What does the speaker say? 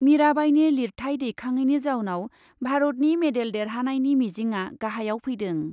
मिराबाइनि लिरथाय दैखाङैनि जाउनाव भारतनि मेडेल देरहानायनि मिजिंआ गाहायाव फैदों।